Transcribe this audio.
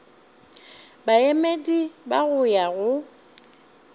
baemedi ba go ya go